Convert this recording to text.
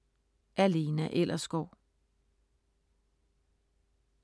Af Lena Ellersgaard